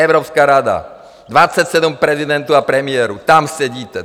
Evropská rada, 27 prezidentů a premiérů, tam sedíte.